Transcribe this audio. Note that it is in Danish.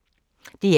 DR1